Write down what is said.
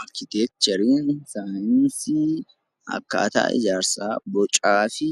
Arkiteekchariin saayinsii akkaataa ijaarsaa, bocaa fi